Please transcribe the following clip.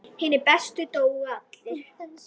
Hinir bestu dóu allir.